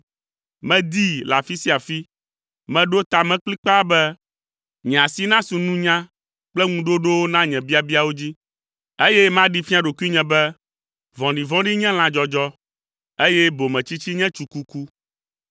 Medii le afi sia afi, meɖo ta me kplikpaa be nye asi nasu nunya kple ŋuɖoɖowo na nye biabiawo dzi, eye maɖee fia ɖokuinye be vɔ̃ɖivɔ̃ɖi nye lãdzɔdzɔ, eye bometsitsi nye tsukuku.